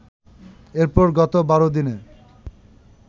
এরপর গত ১২ দিনে